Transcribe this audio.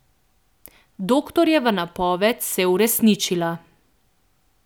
Doktorjeva napoved se je uresničila.